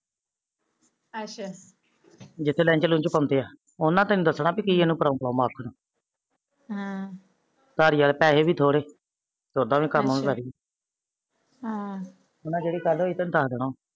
ਅੱਛਾ ਜਿਤੇ ਲੈਂਜ ਲੁੰਜ ਪਾਉਂਦੇ ਆ ਉਹਨਾ ਨੇ ਤੈਨੂੰ ਦੱਸਣਾ ਪੀ ਕੀ ਆ ਹਮ ਨਾਲੇ ਪੈਹੇ ਵੀ ਥੋਰੇ ਜਿਹੜੀ ਗੱਲ ਹੋਈ ਉਹਨਾ ਤੇਨੂੰ ਦੱਸ ਦੇਣਾ